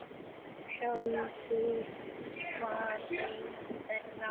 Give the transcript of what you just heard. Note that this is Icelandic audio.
Ég sjálfur var einn þeirra.